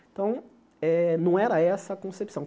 Então, eh não era essa a concepção.